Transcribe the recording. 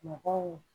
Mɔgɔw